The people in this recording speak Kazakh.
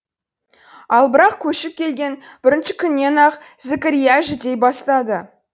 ал бірақ көшіп келген бірінші күннен ақ зікірия жүдей бастады